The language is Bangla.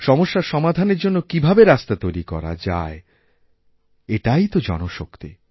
সমস্যার সমাধানের জন্যকীভাবে রাস্তা তৈরি করা যায় এটাই তো জনশক্তি